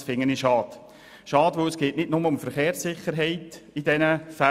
Dies finde ich schade, namentlich weil es in diesen Fällen nicht nur um die Verkehrssicherheit geht.